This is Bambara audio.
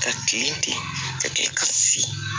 Ka kilen ten ka kɛ ka si